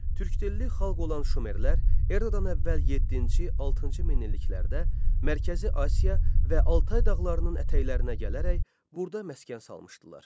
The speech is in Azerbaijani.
Türkdilli xalq olan şumerlər Eradan əvvəl yeddinci, altıncı minilliklərdə Mərkəzi Asiya və Altay dağlarının ətəklərinə gələrək burda məskən salmışdılar.